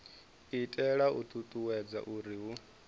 itela u ṱuṱuwedza uri hu